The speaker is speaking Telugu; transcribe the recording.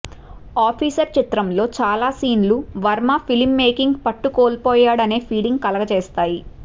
ఆఫీసర్ చిత్రంలో చాలా సీన్లు వర్మ ఫిలిం మేకింగ్ పట్టుకోల్పోయాడనే ఫీలింగ్ కలుగజేస్తాయి